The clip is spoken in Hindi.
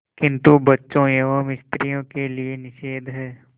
किंतु बच्चों एवं स्त्रियों के लिए निषेध है